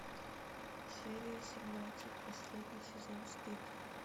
серия семнадцать последний сезон стыд